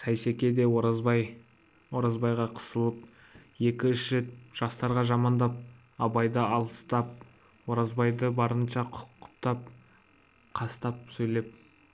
сейсеке де оразбайға қосылып екі-үш рет жастарды жамандап абайды аластап оразбайды барынша құптап қостап сөйлеп